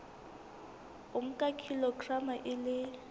o nka kilograma e le